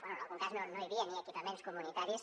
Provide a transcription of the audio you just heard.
bé en algun cas no hi havia ni equipaments comunitaris